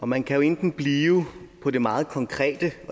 og man kan enten blive på det meget konkrete